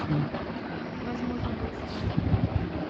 возможно вы искали